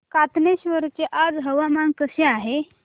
कातनेश्वर चे आज हवामान कसे आहे